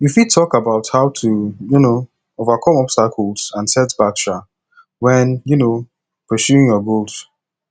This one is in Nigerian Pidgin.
you fit talk about how to um overcome obstacles and setbacks um when um pursuing your goals